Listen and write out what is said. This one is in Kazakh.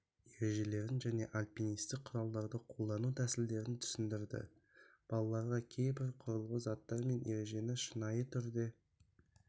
ережелерін және альпинисттік құралдарды қолдану тәсілдерін түсіндірді балаларға кейбір құрылғы заттар мен ережені шынайы түрде